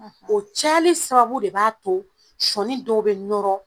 o cayali sababu de b'a to sɔɔni dɔw be nɔrɔ.